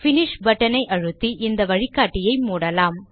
finish button ஐ அழுத்தி இந்த வழிகாட்டியை மூடலாம்